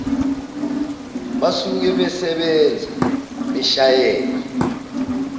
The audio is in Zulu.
basuke besebenza beshayela